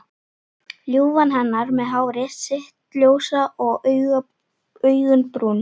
Ljúfan hennar með hárið sitt ljósa og augun brún.